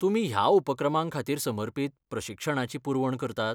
तुमी ह्या उपक्रमांखातीर समर्पीत प्रशिक्षणाची पुरवण करतात?